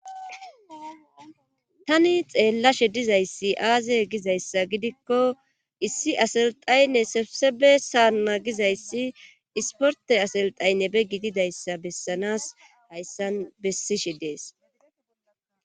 tani xeellashe dizayssi aaze gizayssa gidikko issi aselxaynne sefsebe saanna gizayssi isporte aselxaynne be gididayssa bessanas hayssan bessishe dees